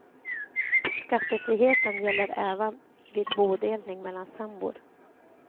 Skattefriheten gäller även vid bodelning mellan sambor.